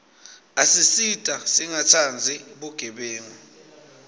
asisita singatsandzi bugebengu